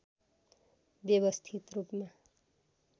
व्यवस्थित रूपमा